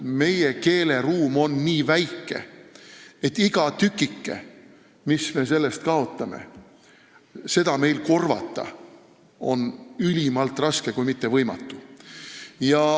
Meie keeleruum on nii väike, et igat tükikest, mis me kaotame, on meil korvata ülimalt raske, kui mitte võimatu.